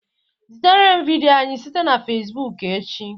Zitere m vidiyo anyị site na facebook echi